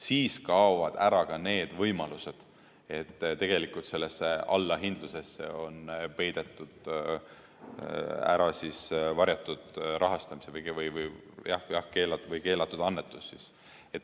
Siis kaovad ära ka need võimalused, et tegelikult sellesse allahindlusesse on ära peidetud varjatud rahastus või keelatud annetus.